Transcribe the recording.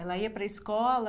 Ela ia para a escola.